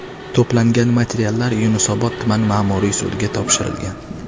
To‘plangan materiallar Yunusobod tuman ma’muriy sudiga topshirilgan.